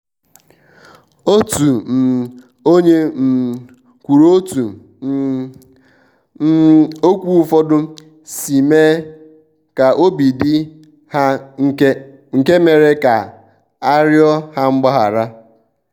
otu um onye um kwuru otú um um okwu ụfọdụ si mee ka obi dị hanke mere ka a riọ ha mgbaghara.